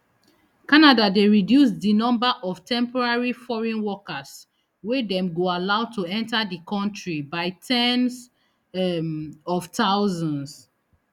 canada dey reduce di number of temporary foreign workers wey dem go allow to enta di kontri by ten s um of thousands